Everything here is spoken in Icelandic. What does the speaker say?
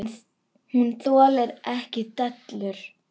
Hún þolir ekki dellur.